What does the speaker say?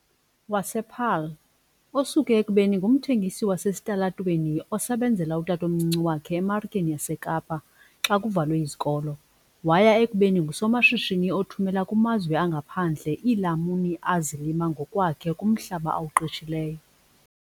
wasePaarl, osuke ekubeni ngumthengisi wasesitalatweni osebenzela utatomncinci wakhe eMarikeni yaseKapa xa kuvalwe izikolo waya ekubeni ngusomashishini othumela kumazwe angaphandle iilamuni azilima ngokwakhe kumhlaba awuqeshileyo.